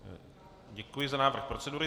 Děkuji za návrh procedury.